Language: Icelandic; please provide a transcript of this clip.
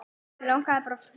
Mig langaði bara að fletta